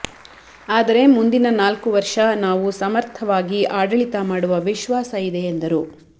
ಆದರೆ ಮುಂದಿನ ನಾಲ್ಕು ವರ್ಷ ನಾವು ಸಮರ್ಥವಾಗಿ ಆಡಳಿತ ಮಾಡುವ ವಿಶ್ವಾಸ ಇದೆ ಎಂದರು